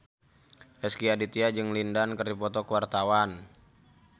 Rezky Aditya jeung Lin Dan keur dipoto ku wartawan